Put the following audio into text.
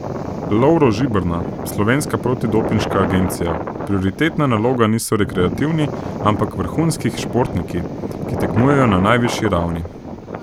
Lovro Žiberna, Slovenska protidopinška agencija: "Prioritetna naloga niso rekreativni, ampak vrhunskih športniki, ki tekmujejo na najvišji ravni.